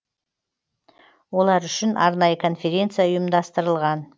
олар үшін арнайы конференция ұйымдастырылған